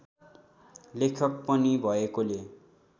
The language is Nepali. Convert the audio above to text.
लेखक पनि भएकोले